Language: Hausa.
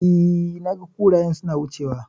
E, naga kurayen suna wucewa.